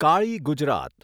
Kali Gujarat